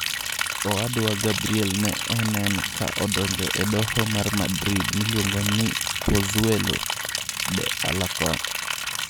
Owadwa Gabrielne ne onen ka odonjo e doho man Madrid miluongo ni Pozuelo de Alarcon.